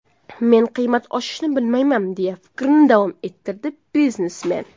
Men qiymat oshishini bilmayman”, deya fikrini davom ettirdi biznesmen.